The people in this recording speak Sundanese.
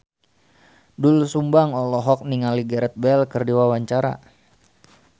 Doel Sumbang olohok ningali Gareth Bale keur diwawancara